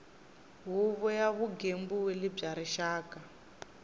huvo ya vugembuli bya rixaka